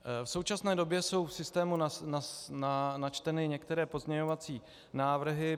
V současné době jsou v systému načteny některé pozměňovací návrhy.